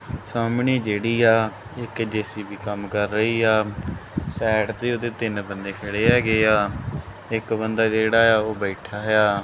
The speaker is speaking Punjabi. ਸਾਹਮਣੇ ਜਿਹੜੀ ਆ ਇੱਕ ਜੇ_ਸੀ_ਬੀ ਕੰਮ ਕਰ ਰਹੀ ਆ ਸਾਈਡ ਤੇ ਉਹਦੇ ਤਿੰਨ ਬੰਦੇ ਖੜੇ ਹੈਗੇ ਆ ਇੱਕ ਬੰਦਾ ਜਿਹੜਾ ਆ ਉਹ ਬੈਠਾ ਆ।